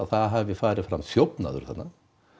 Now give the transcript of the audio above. það hafi farið fram þjófnaður þarna